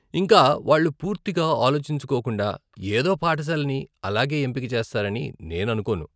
ఇంకా వాళ్ళు పూర్తిగా ఆలోచించుకోకుండా ఏదో పాఠశాలని అలాగే ఎంపిక చేస్తారని నేను అనుకోను.